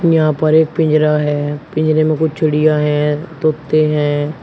यहां पर एक पिंजरा है पिंजरे में कुछ चिड़िया हैं तोते हैं।